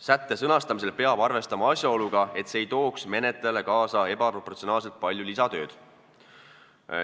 Sätte sõnastamisel peab arvestama asjaoluga, et see ei tooks menetlejale kaasa ebaproportsionaalselt palju lisatööd.